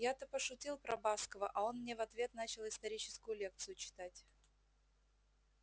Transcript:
я-то пошутил про баскова а он мне в ответ начал историческую лекцию читать